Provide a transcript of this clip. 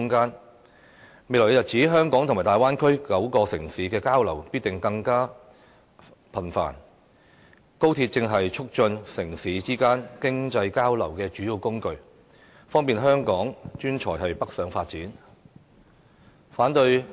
在未來日子，香港與大灣區9個城市的交流必定更加頻繁，高鐵正好是促進城市之間經濟交流的主要工具，方便香港專才北上發展。